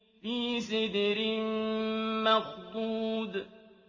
فِي سِدْرٍ مَّخْضُودٍ